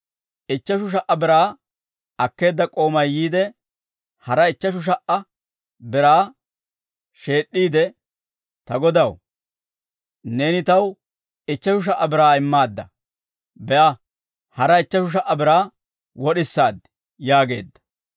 Ichcheshu sha"a biraa akkeedda k'oomay yiide, hara ichcheshu sha"a biraa sheed'd'iide, ‹Ta godaw, neeni taw ichcheshu sha"a biraa immaadda; be'a, hara ichcheshu sha"a biraa wod'isaad› yaageedda.